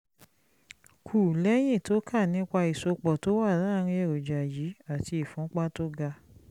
kù lẹ́yìn tó kà nípa ìsopọ̀ tó wà láàárín èròjà yìí àti ìfúnpá tó ga